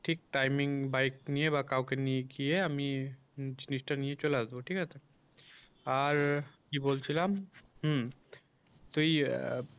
ঠিক timing bike নিয়ে বা কাউকে নিয়ে গিয়ে আমি আমি জিনিসটা নিয়ে চলে আসব ঠিক আছে আর কি বলছিলাম হুম তইয়া